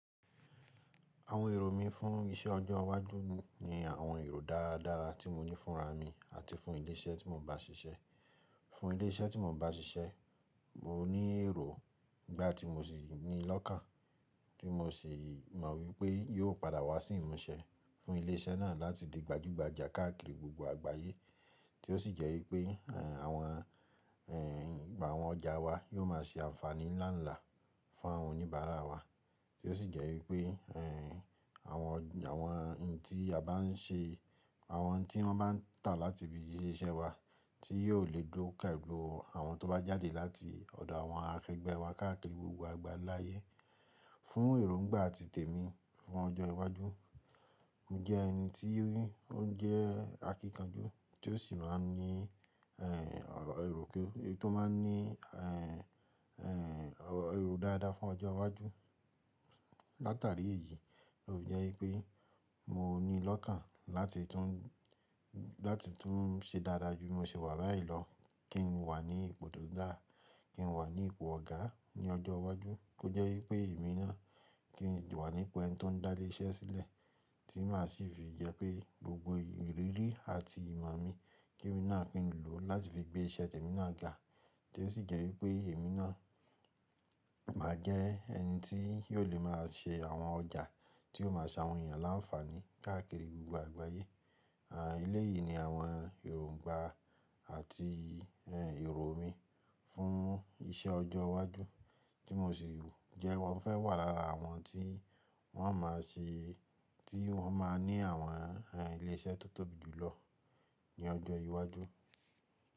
Àwọn èrò mí fún iṣẹ́ ọjọ́ iwájú ni àwọn èrò dáradára tí mo ní fúnra mi àti fún ilé iṣẹ́ tí mò ń bá ṣiṣẹ́. Fún ilé iṣẹ́ tí mò ń bá ṣiṣẹ́, mo ní èrò n gbá tí mo sì ní lọ́kan, tí mo sì mọ wípé yóò padà wá sí ìmúṣẹ fún ilé iṣẹ́ náà láti di gbajúgbajà káàkiri gbogbo àgbáyé. Tí ó sì jẹ́ wípé, ẹ́ àwọn, ẹ́ ìgbà àwọn ọjà wa yóò máa ṣe ànfàní ńlá ńlá fún àwọn oníbàárà wa. Tí ó sì jẹ́ wípé, ẹ́ àwọn ọjà, àwọn n tí a bá n ṣe, àwọn tí wọ́n bá ń tà láti ibi iṣẹ́ wa, tí yóò lè dó pẹ̀lú àwọn tó bá jáde láti ọ̀dọ̀ àwọn akẹgbẹ́ wa káàkiri gbogbo àgbáyé. Fún èrò ńgbà àti tèmi fún ọjọ́ iwájú, mo jẹ ẹni tí rí, ó ń jẹ́ akíkanjú, tí ó sì máa ń ní, ẹ́ èrò ke, tó máa ń ní, ẹ́ èrò dáadáa fún ọjọ́ iwájú. Láàtárí èyí, tó fi jẹ́ wípé mo ní lọ́kn láti tún, láti tún ṣẹ dáadáa jù. Mo sì wà báyii lọ kí n wà ní ipò tó ga, kí n wà ní ipò ọ̀gá ní ọjọ́ iwájú. Ó jẹ́ wípé èmi náà kí n wà ní ipò ẹni tó ń dá ilé iṣẹ́ sílẹ̀, tí má sì fi jẹ́ pé gbogbo ìrírí àti ìmọ̀ mi kí èmi náà ki ń lò láti fi gbé iṣẹ́ tèmi náà ga. Tí ó sì jẹ́ wípé èmi náà máa jẹ ẹni tí yóò lè máa ṣe àwọn ọjà tí yóò máa ṣe àwọn ènìyàn láńfàní káàkiri gbogbo àgbáyé. À ilé yìí ni àwọn èrò ńgbà àti èrò mi fún iṣẹ́ ọjọ́ iwájú tí mò ṣe wù. Ǹjẹ́ mo fẹ́ wà lára àwọn tí wọ́n máa ṣe, tí wọ́n máa ní àwọn ilé iṣẹ́ tó tóbi jù lọ ní ọjọ́ iwájú.